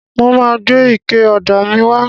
Mo máa gbé ike ọ̀dà míì wá.